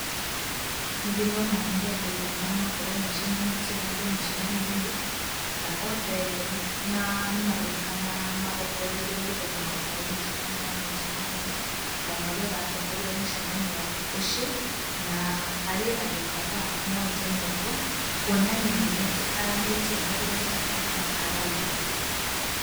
Nĩ ndĩrona nĩ andũ mahana gũkorwo macemanĩtie handũ mũcemanio-inĩ, na othe nĩ maroneka marongoreirie maitho mao harĩ mũtabania wa mũcamanio, kana ũrĩa ũratongoria mũcamanio ũcio, na harĩ andũ kadhaa moete moko kuonania nĩ metĩkĩranĩtie na ũrĩa mũtabania arauga.